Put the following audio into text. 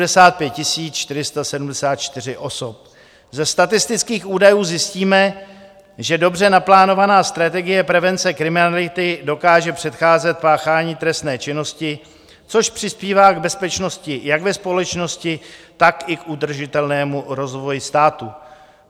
Ze statistických údajů zjistíme, že dobře naplánovaná strategie prevence kriminality dokáže předcházet páchání trestné činnosti, což přispívá k bezpečnosti jak ve společnosti, tak i k udržitelnému rozvoji státu.